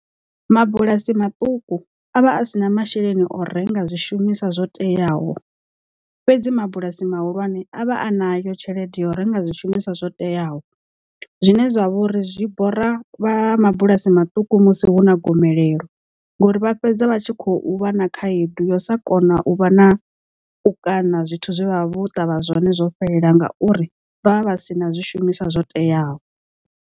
Mabulasi maṱuku avha a si na masheleni o renga zwishumiswa zwo teaho fhedzi mabulasi mahulwane a vha a na yo tshelede ya u renga zwishumiswa zwo teaho zwine zwavha uri zwi bora vha mabulasi maṱuku musi hu na gomelelo ngori vha fhedza vha tshi khou vha na khaedu yo sa kona u vha na u kaṋa zwithu zwe vha vho ṱavha zwone zwo fhelela ngauri vha vha vha si na zwishumiswa zwo teaho.